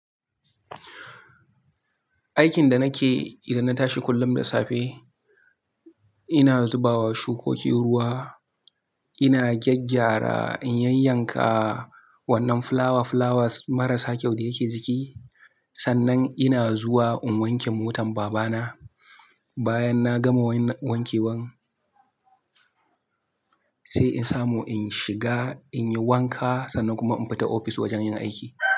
Aikin da nake yi idan na tashi kullum da safe, ina zubawa shukoki ruwa, ina gyaggyara in yanyanka wannan fulawa fulawa marasa kyau da yake jiki. Sannan ina zuwa in wanke motar babana. Bayan na gama wankewar, sai in samu in shiga in yi wanka sannan kuma in fita ofis wajen yin aiki.